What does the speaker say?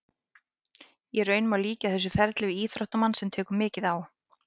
Í raun má líkja þessu ferli við íþróttamann sem tekur mikið á.